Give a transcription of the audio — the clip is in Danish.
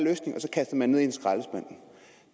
man en skraldespand